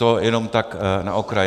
To jenom tak na okraj.